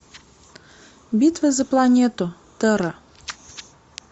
битва за планету терра